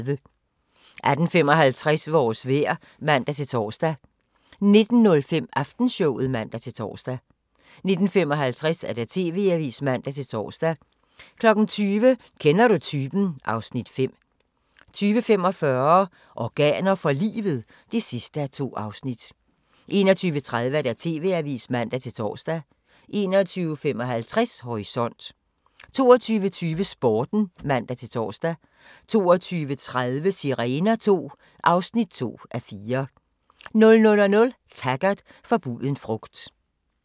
18:55: Vores vejr (man-tor) 19:05: Aftenshowet (man-tor) 19:55: TV-avisen (man-tor) 20:00: Kender du typen? (Afs. 5) 20:45: Organer for livet? (2:2) 21:30: TV-avisen (man-tor) 21:55: Horisont 22:20: Sporten (man-tor) 22:30: Sirener II (2:4) 00:00: Taggart: Forbuden frugt